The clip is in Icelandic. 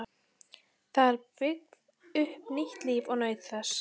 Það byggði upp nýtt líf og naut þess.